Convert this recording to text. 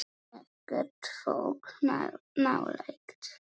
Ekkert fólk nálægt.